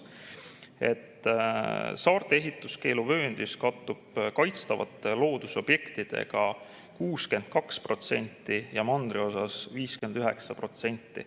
Saarte ehituskeeluvööndis kattub kaitstavate loodusobjektidega 62% ja mandriosas 59%.